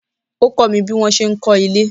Ó kọ́ mi bí wọ́n ṣe ń kọ́ ilé.